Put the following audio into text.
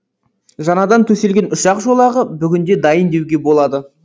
жаңадан төселген ұшақ жолағы бүгінде дайын деуге болады